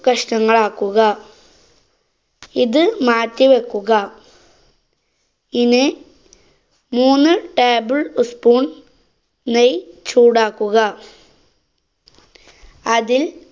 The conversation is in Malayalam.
കഷ്ണങ്ങളാക്കുക. ഇത് മാറ്റി വെക്കുക. ഇനി മൂന്ന് table ഉസ് spoon നെയ്‌ ചൂടാക്കുക. അതില്‍